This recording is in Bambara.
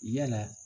Yala